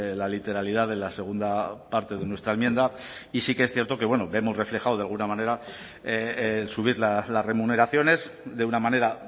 la literalidad de la segunda parte de nuestra enmienda y sí que es cierto que vemos reflejado de alguna manera subir las remuneraciones de una manera